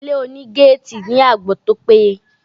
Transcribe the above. Ilé oní gétìì ní àbò tó pé ye.